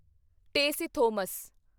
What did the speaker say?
Tessy Thomas